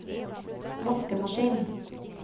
vaskemaskin